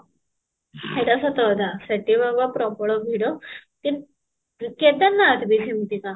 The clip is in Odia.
ସେଇଟା ସତ କଥା ସେଠି ବାବା ପ୍ରବଳ ଭିଡ କିନ୍ତୁ କେଦାର ନାଥ ବି ସେମତିକା